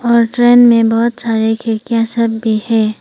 और ट्रेन में बहोत सारे खिड़कियां सब भी हैं।